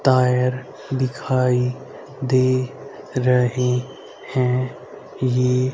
tyre दिखाई दे रहे है ये--